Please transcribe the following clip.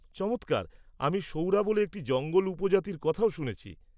চমৎকার! আমি সৌরা বলে একটি জঙ্গল উপজাতির কথাও শুনেছি।